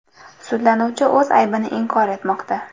Sudlanuvchi o‘z aybini inkor etmoqda.